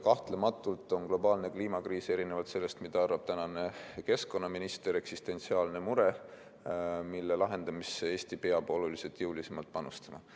Kahtlematult on globaalne kliimakriis, erinevalt sellest, mida arvab tänane keskkonnaminister, eksistentsiaalne mure, mille lahendamisse peab Eesti oluliselt jõulisemalt panustama.